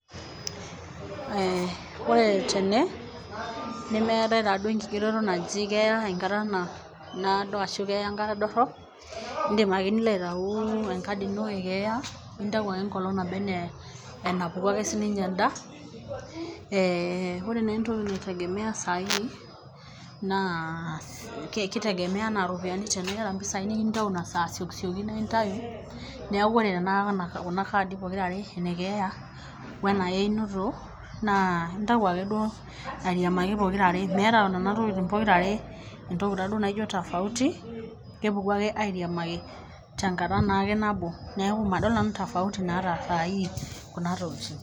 Eeeh oore tene, nemeetae taaduo enkigeroto naaji keeya enkata naado arashu keeya enkata dorop, iidim aake nilo aitau enkadi iino e keeya, nintau aake enkolong naba enaa enapuku ake sininye een'da, eeh oore naa entoki naitegemea saa hii, naa keitegemea enaa iropiyiani teniata impisai naa intau nasaa asiokisioki naa inatu, niaku oore tenekata kuna kaadi pokira aare ene keeya weena einoto, naa inatu aake duo airiamaki pokira aaremeeta kuna tokitin pokira aare tofauti niaku kepuku aake kuna tokitin aare apudaki.